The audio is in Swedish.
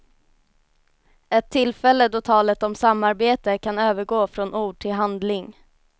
Ett tillfälle då talet om samarbete kan övergå från ord till handling.